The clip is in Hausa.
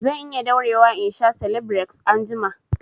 Zan iya daurewa in sha selebireks anjima